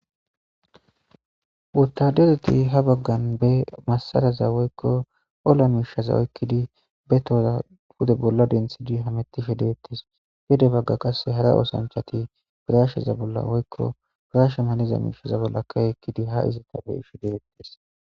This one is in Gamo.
Wotadereti ha bagan be masaraza woyko olla mishaza oykidi be toza pude bolla denthidi hametishe detese gede qase hara othoachati pirashe bolla woyko pirashe malaza bolla key utidi ha ezeta be'ishe detese